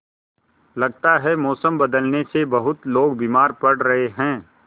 लगता है मौसम बदलने से बहुत लोग बीमार पड़ रहे हैं